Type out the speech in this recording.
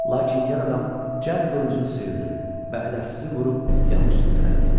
Lakin yad adam cəd qılıncını sıyırdı, bədəbi cızırıb yanı üstə sərdi.